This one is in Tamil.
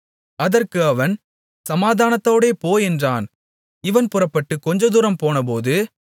அதற்கு அவன் சமாதானத்தோடே போ என்றான் இவன் புறப்பட்டுக் கொஞ்சதூரம் போனபோது